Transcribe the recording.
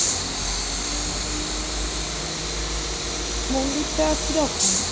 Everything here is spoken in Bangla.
মন্দিরটা কিরকম?